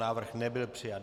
Návrh nebyl přijat.